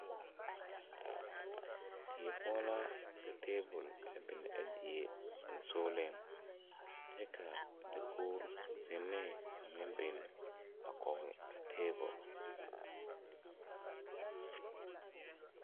Die poɔ la ka tabol a biŋ a die sensugliŋ kyɛ ka dakoge zinee meŋ biŋ a kɔge tabol.